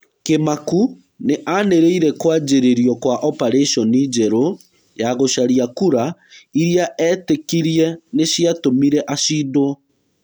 Kĩmaku nĩ anĩrĩire kwanjĩrĩrio kwa oparĩconi njerũya gũcarĩa kura irĩa etĩkirie nĩciatũmire acindwo.